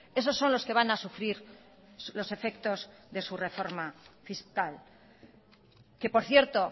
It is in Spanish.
esos son los que van a sufrir los efectos de su reforma fiscal que por cierto